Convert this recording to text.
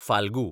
Phalgu